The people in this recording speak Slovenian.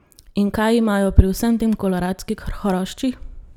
In kaj imajo pri vsem tem koloradski hrošči?